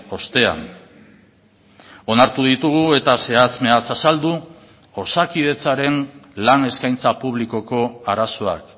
ostean onartu ditugu eta zehatz mehatz azaldu osakidetzaren lan eskaintza publikoko arazoak